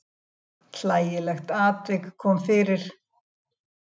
Hlægilegt atvik kom fyrir.